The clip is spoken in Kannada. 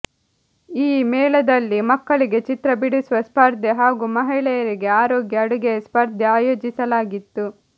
ಈ ಮೇಳದಲ್ಲಿ ಮಕ್ಕಳಿಗೆ ಚಿತ್ರ ಬಿಡಿಸುವ ಸ್ಪರ್ಧೆ ಹಾಗೂ ಮಹಿಳೆಯರಿಗೆ ಆರೋಗ್ಯ ಅಡುಗೆಯ ಸ್ಪರ್ಧೆ ಆಯೋಜಿಸಲಾಗಿತ್ತು